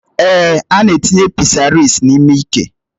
Èé, ana etinye pịsaris n'ime ike